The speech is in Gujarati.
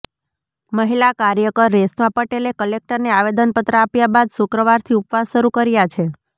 મહિલા કાર્યકર રેશમા પટેલે કલેકટરને આવેદનપત્ર આપ્યા બાદ શુક્રવારથી ઉપવાસ શરૂ કર્યા છે